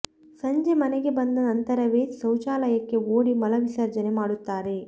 ಸಂಜೆ ಮನೆಗೆ ಬಂದ ನಂತರವೇ ಶೌಚಾಲಯಕ್ಕೆ ಓಡಿ ಮಲ ವಿಸರ್ಜನೆ ಮಾಡುತ್ತಾರೆ